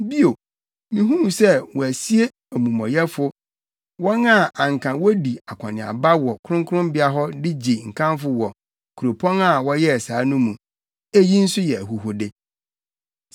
Bio, mihuu sɛ wɔasie amumɔyɛfo, wɔn a anka wodi akɔneaba wɔ kronkronbea hɔ de gye nkamfo wɔ kuropɔn a wɔyɛɛ saa no mu. Eyi nso yɛ ahuhude.